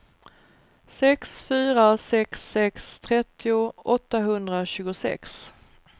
sex fyra sex sex trettio åttahundratjugosex